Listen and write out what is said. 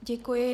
Děkuji.